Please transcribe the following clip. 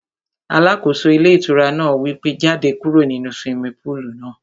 Alákóso ilé ìtura náà wí pé, jáde kúrò nínu swimming pool náà